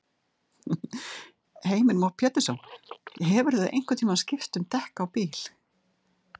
Heimir Már Pétursson: Hefurðu einhvern tímann skipt um dekk á bíl?